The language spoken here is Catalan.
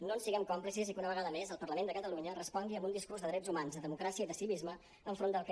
no en siguem còmplices i que una vegada més el parlament de catalunya respongui amb un discurs de drets humans de democràcia i de civisme enfront del que